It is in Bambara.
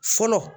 Fɔlɔ